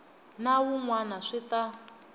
na wun wana swi ta